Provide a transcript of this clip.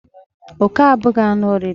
Oke abụghị anụ oriri